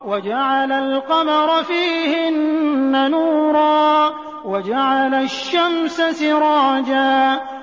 وَجَعَلَ الْقَمَرَ فِيهِنَّ نُورًا وَجَعَلَ الشَّمْسَ سِرَاجًا